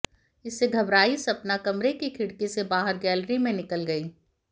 इससे घबराई सपना कमरे की खिड़की से बाहर गैलरी में निकल गई